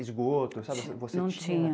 Esgoto, você tinha? Não tinha